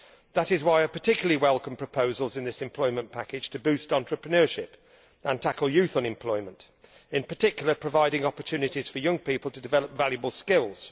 That is why I particularly welcome proposals in this employment package to boost entrepreneurship and tackle youth unemployment, in particular providing opportunities for young people to develop valuable skills.